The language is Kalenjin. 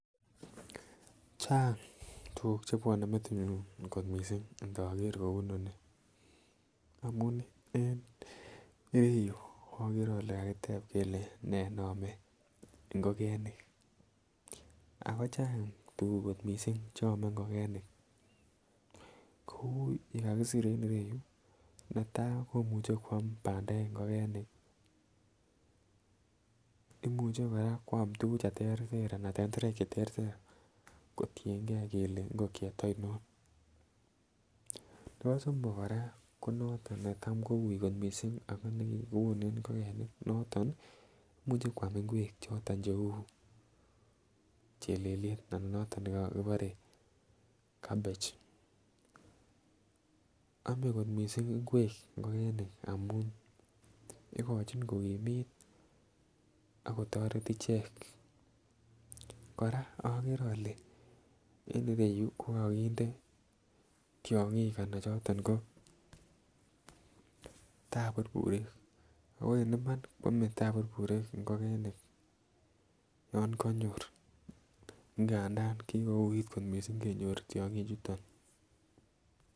Chang tugul kot missing chebwone metinyun intoker kouu inoni amun en ireyu okere ole kakitep kelee nee neome ngogenik ak kochang tuguk kot missing che ome ngogenik kou yuu kakisir en ireyu netaa komuche kwam bandek ngogenik imuche koraa kwam tugug che terter ana tenterek che terter kotiengee kelee ngogiet oinon nebo somok koraa ko noton be uui kot missing ako tam keone ngogenik ako moto imuche Kwam ingwek choton cheuu chelelyet anan noton nekibore cabbage oome ngwek kot missing ngogenik amun igochin kokimit ak kotoret ichek. Koraa ogeree ole ko kokinde tyongik anan choton ko baburburik ago en iman kwome taburburik ingogenik yon konyor ngadan kigouit kot missing kenyor tyogichuton